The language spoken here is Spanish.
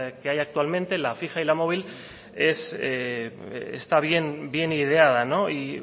que hay actualmente la fija y la móvil está bien ideada y